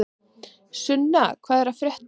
Sunna, hvað er að frétta?